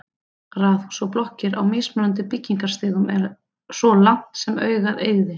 Raðhús og blokkir á mismunandi byggingarstigum svo langt sem augað eygði.